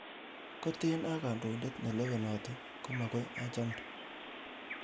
Koten a kondoindet nelewenotin komogoi achamde.